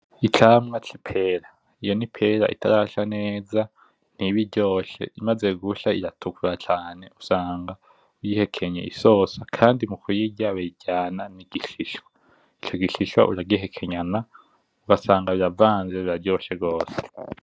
Icamwa c’ipera , iyo n’Ipera itarasha neza , ntibiryoshe imaze gusha iratukura cane ,usanga uyihekenye iryoshe Kandi mukuyirya bayiryana nigishishwa ico gishishwa uragihekenyana ugasanga biravanze biryoshe gose .